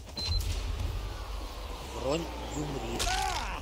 бронь гюмри